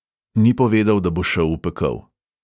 Ni povedal, da bo šel v pekel.